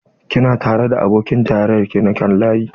Kina tare da abokin tarayyar ki na kan layi?